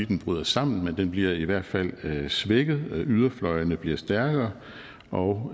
den bryder sammen men den bliver i hvert fald svækket og yderfløjene bliver stærkere og